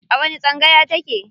A wani tsangaya ta ke?